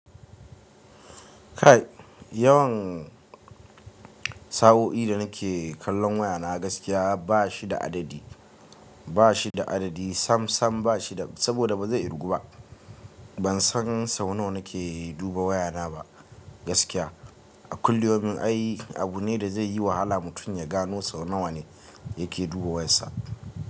Kai yawan, sa'o'i da nake kallon waya na gaskiya bashi da adadi, bashi da adadi sam-sam bashi da saboda bazai irgu ba. Bansan sau nawa nake duba wayana ba, gaskiya. Kulli yaumin ai abu ne da zai yi wahala mutum ya gano sau nawa ne yake duba wayar sa.